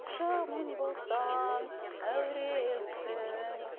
жаман болсаң әуремсің